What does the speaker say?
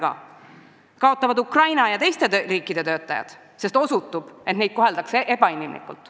Samuti kaotavad Ukraina ja teiste riikide töötajad, sest osutub, et neid koheldakse ebainimlikult.